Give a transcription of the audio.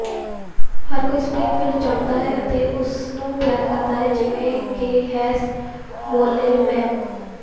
ਹਰ ਕੋਈ ਸਪ੍ਰਿੰਗਫੀਲਡ ਜਾਣਦਾ ਹੈ ਅਤੇ ਉਸਨੂੰ ਪਿਆਰ ਕਰਦਾ ਹੈ ਜਿਵੇਂ ਕਿ ਹੈਸ ਮੋਲੇਮੈਨ